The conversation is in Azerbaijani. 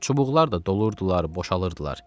Çubuqlar da doldurdular, boşaldırdılar.